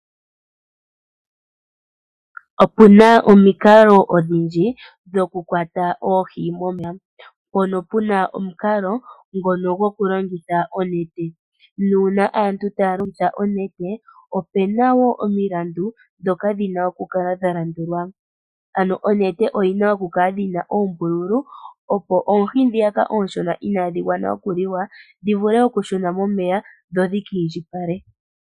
Opuna omikalo odhindji dhokukwata oohi momeya, mpono puna omukalo ngono gokulongitha onete. Nuuna aantu taya longitha onete, opena wo omilandu dhoka dhina okukala dha landulwa. Ano omete oyina okukala yina oombululu opo oohi dhiyaka ooshona inadhi gwana okuliwa dhi vule okushuna momeya, dho dhika indjipale.